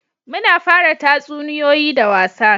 Muna fara tatsuniyoyi da wasa